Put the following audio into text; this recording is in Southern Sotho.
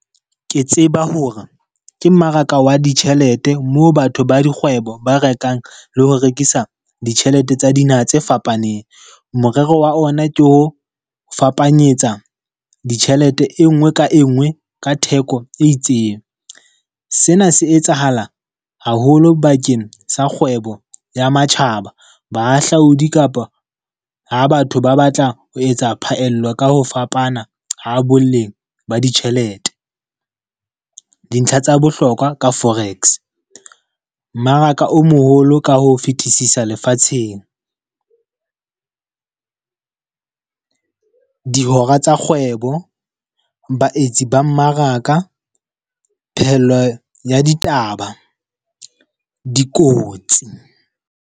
Ke tseba hore, ke mmaraka wa ditjhelete mo batho ba dikgwebo ba rekang le ho rekisa ditjhelete tsa dinaha tse fapaneng. Morero wa ona ke ho fapanyetsa ditjhelete e nngwe ka e nngwe ka theko e itseng. Sena se etsahala haholo bakeng sa kgwebo ya matjhaba. Bahahlaodi kapa ha batho ba batla ho etsa phaello ka ho fapana ha boleng ba ditjhelete. Dintlha tsa bohlokwa ka forex, mmaraka o moholo ka ho fetisisa lefatsheng. dihora tsa kgwebo, baetsi ba mmaraka, phehello ya ditaba, dikotsi.